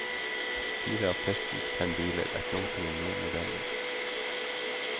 Fire av testens fem biler er flunkende nye modeller.